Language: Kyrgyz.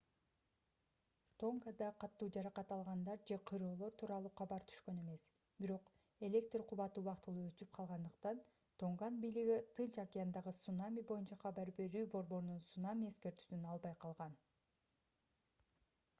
тонгада катуу жаракат алгандар же кыйроолор тууралуу кабар түшкөн эмес бирок электр кубаты убактылуу өчүп калгандыктан тонган бийлиги тынч океандагы цунами боюнча кабар берүү борборунун цунами эскертүүсүн албай калган